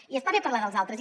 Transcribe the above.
i està bé parlar dels altres